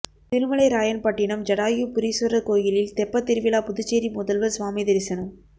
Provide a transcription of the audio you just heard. திருமலைராயன்பட்டினம் ஜடாயு புரீஸ்வரர் கோயிலில் தெப்பத்திருவிழா புதுச்சேரி முதல்வர் சுவாமி தரிசனம்